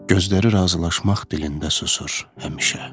Gözləri razılaşmaq dilində susur həmişə.